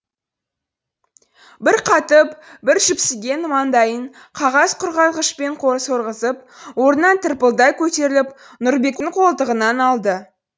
бір қатып бір жіпсіген маңдайын қағаз құрғатқышпен сорғызып орнынан тырпылдай көтеріліп нұрбектің қолтығынан алды